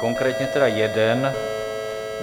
Konkrétně tedy jeden.